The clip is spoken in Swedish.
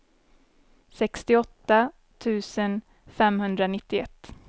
sextioåtta tusen femhundranittioett